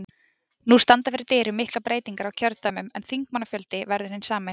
Nú standa fyrir dyrum miklar breytingar á kjördæmum en þingmannafjöldi verður hinn sami.